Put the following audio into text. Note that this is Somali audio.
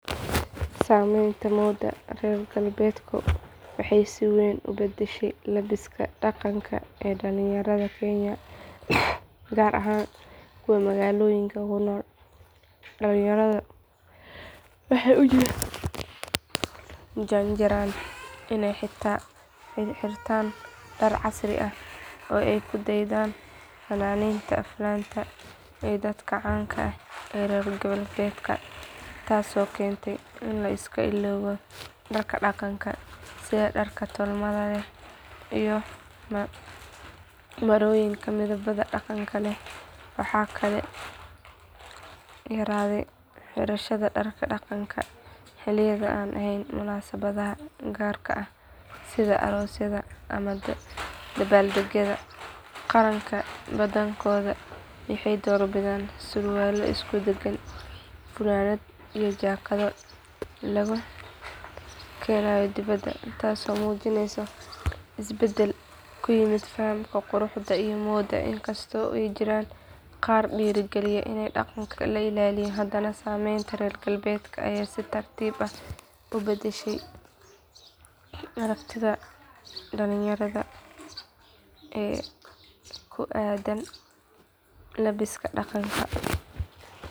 Saamaynta moodda reer galbeedka waxay si weyn u bedeshay labbiska dhaqanka ee dhallinyarada Kenya gaar ahaan kuwa magaalooyinka ku nool dhallinyaradu waxay u janjeeraan inay xirtaan dhar casri ah oo ay ku daydaan fanaaniinta aflaanta iyo dadka caanka ah ee reer galbeedka taasoo keentay in la iska ilaawo dharka dhaqanka sida dharka tolmada leh iyo marooyinka midabada dhaqanka leh waxaa sidoo kale yaraaday xirashada dharka dhaqanka xilliyada aan ahayn munaasabadaha gaarka ah sida aroosyada ama dabbaaldegyada qaranka badankooda waxay doorbidaan surwaallo isku dheggan funaanno iyo jaakado laga keeno dibadda taasoo muujinaysa isbeddelka ku yimid fahamka quruxda iyo moodda inkastoo ay jiraan qaar dhiirrigeliya in dhaqanka la ilaaliyo haddana saameynta reer galbeedka ayaa si tartiib ah u beddeshay aragtida dhallinyarada ee ku aaddan labbiska dhaqanka.